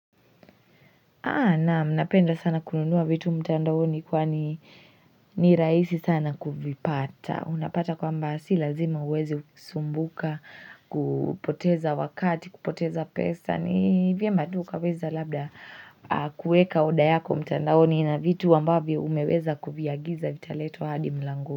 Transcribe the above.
Naam, napenda sana kununua vitu mtandaoni kwani ni rahisi sana kuvipata. Unapata kwamba si lazima uweze kusumbuka, kupoteza wakati, kupoteza pesa. Ni vyema tu ukaweza labda kuweka order yako mtandaoni na vitu ambavyo umeweza kuviagiza vitaletwa hadi mlangoni.